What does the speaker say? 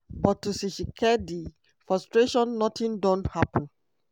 but to tshisikedi frustration notin don happun.